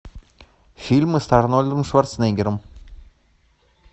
фильмы с арнольдом шварценеггером